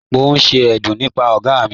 Mo n ṣe ẹ̀dún nípà ọ̀ga mi..